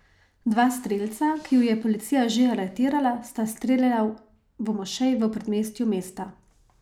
Dva strelca, ki ju je policija že aretirala, sta streljala v mošeji v predmestju mesta.